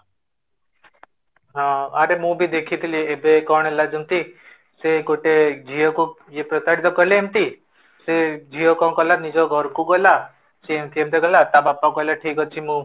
ହଁ ଆରେ ମୁଁ ବି ଦେଖିଥିଲେ ଏବେ କଣ ହେଲା ଯେମିତି ସେ ଗୋଟେ ଝିଅ କୁ ସେ ପ୍ରତାରିତ କଲେ ଏମିତି ସେ ଝିଅ କଣ କଲା ସେ ନିଜ ଘରକୁ ଗଲା ସେ ଏମିତି ଏମିତି କହିଲା, ତା ବାପା କହିଲା ଠିକ ଅଛି ମୁଁ